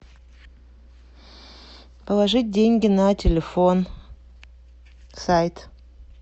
положить деньги на телефон сайт